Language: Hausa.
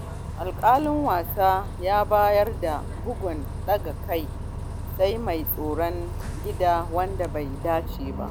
Alƙalin wasa ya bayar da bugun daga kai- sai- mai tsaron gida, wanda bai dace ba.